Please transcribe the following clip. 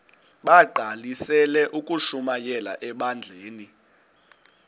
bagqalisele ukushumayela ebandleni